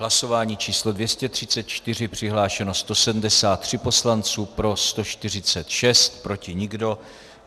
Hlasování číslo 234, přihlášeno 173 poslanců, pro 146, proti nikdo.